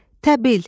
Təbil,